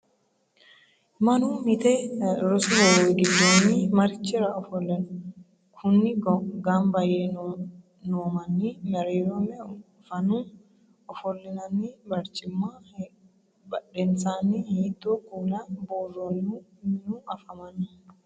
Manu mite rosu hoowe gidoonni marichira ofole no? Kunni ganba yee noomanni mereero meu fannu ofolinnanni barcimminna badhensaanni hiitoo kuula buuroonnihu minu afammanno?